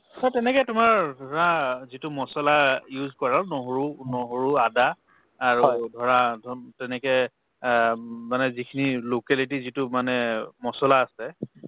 অ, তেনেকে তোমাৰ ধৰা যিটো মছলা use কৰক নহৰু~ নহৰু আদা আৰু ধৰা তেনেকে অ উম মানে যিখিনি locality যিটো মানে মছলা আছে